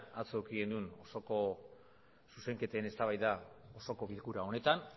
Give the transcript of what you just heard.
atzo eduki genuen osoko zuzenketen eztabaida osoko bilkura honetan